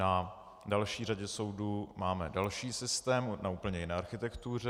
Na další řadě soudů máme další systém na úplně jiné architektuře.